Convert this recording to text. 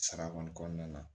Sara kɔni kɔnɔna na